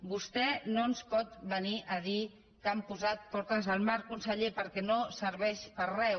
vostè no ens pot venir a dir que han posat portes al mar conseller perquè no serveix per a res